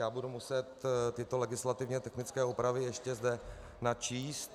- Já budu muset tyto legislativně technické úpravy ještě zde načíst.